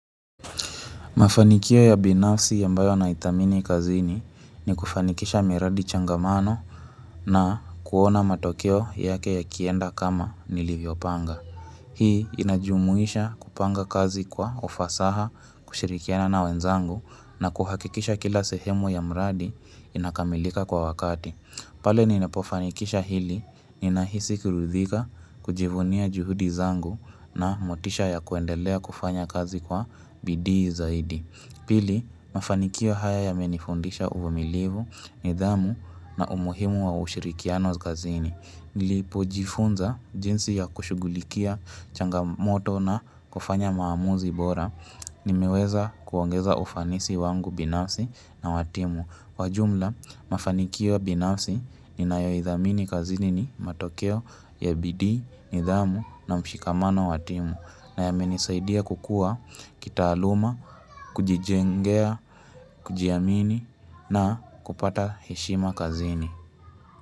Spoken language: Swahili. Mafanikio ya binafsi ambayo yanaidhamini kazini ni kufanikisha miradi changamano na kuona matokeo yake yakienda kama nilivyopanga. Hii inajumuisha kupanga kazi kwa ufasaha kushirikiana na wenzangu na kuhakikisha kila sehemu ya mradi inakamilika kwa wakati. Pale ninapofanikisha hili, ninahisi kuridhika kujivunia juhudi zangu na motisha ya kuendelea kufanya kazi kwa bidiizaidi. Pili, mafanikio haya yamenifundisha uvumilivu, nidhamu na umuhimu wa ushirikiano kazini. Nilipojifunza jinsi ya kushugulikia changamoto na kufanya maamuzi bora, nimeweza kuongeza ufanisi wangu binafsi na wa timu. Kwa jumla, mafanikio binafsi ninayoidhamini kazini ni matokeo ya bidii, ndhamu na mshikamano wa timu na yamenisaidia kukua kitaaluma, kujijengea, kujiamini na kupata heshima kazini.